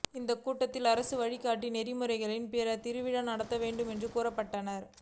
இந்த கூட்டத்தில் அரசு வழிகாட்டு நெறிமுறைகளின் படி திருவிழா நடத்த வேண்டும் என்று கூறப்பட்டது